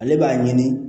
Ale b'a ɲini